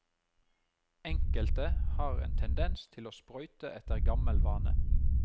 Enkelte har en tendens til å sprøyte etter gammel vane.